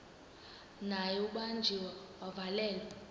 naye ubanjiwe wavalelwa